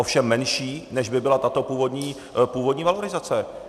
Ovšem menší, než by byla tato původní valorizace.